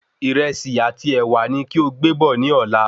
Ìrẹsì àti ẹ̀wà ni kí o gbé bọ̀ ni Ọ̀la